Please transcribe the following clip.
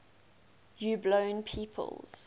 puebloan peoples